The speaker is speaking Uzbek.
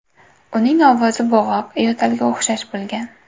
Uning ovozi bo‘g‘iq, yo‘talga o‘xshash bo‘lgan.